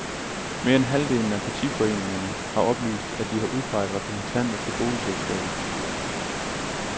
Mere end halvdelen af partiforeningerne har oplyst, at de har udpeget repræsentanter til boligselskaber.